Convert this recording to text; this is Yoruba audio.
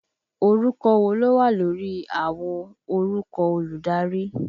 Orúkọ wo ló wà lórí àwo orúkọ olùdarí?